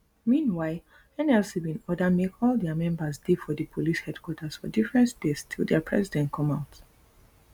meanwhile nlc bin order make all dia members dey for di police headquarters for different states till dia president come out